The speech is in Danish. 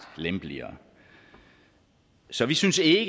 lempeligere så vi synes ikke at